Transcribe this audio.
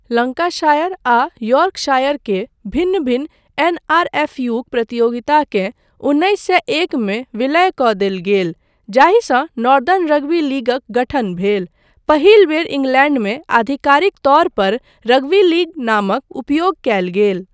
Lancashire आ Yorkshire के भिन्न भिन्न एनआरएफयूक प्रतियोगिताकेँ उन्नैस सए एक मे विलय कऽ देल गेल जाहिसँ नॉर्दन रग्बी लीगक गठन भेल, पहिल बेर इंग्लैंडमे आधिकारिक तौर पर रग्बी लीग नामक उपयोग कयल गेल।